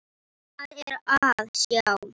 Hvað er að sjá